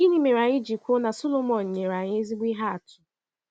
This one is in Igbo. Gịnị mere anyị ji kwuo na Sọlọmọn nyere anyị ezigbo ihe atụ?